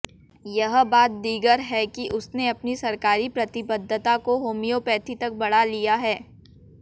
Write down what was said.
यह बात दीगर है कि उसने अपनी सरकारी प्रतिबद्घता को होमियोपैथी तक बढ़ा लिया है